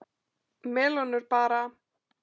Melónur bara!